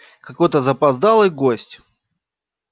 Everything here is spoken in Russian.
какой-то запоздалый гость